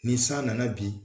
Ni san nana bi